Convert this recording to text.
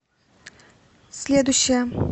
следующая